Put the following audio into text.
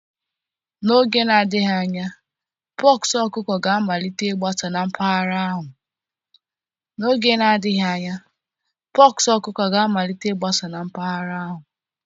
N'oge na-adịghị anya, pox ọkụkọ ga-amalite ịgbasa na mpaghara ahụ